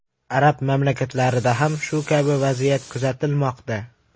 Arab mamlakatlarida ham shu kabi vaziyat kuzatilmoqda.